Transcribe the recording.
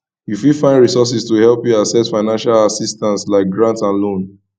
you fit find resources to help you access financial assistance like grant and loans